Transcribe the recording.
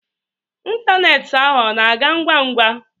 Ịntanetị ahu ọ na ga ngwa ngwa?